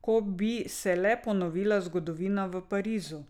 Ko bi se le ponovila zgodovina v Parizu ...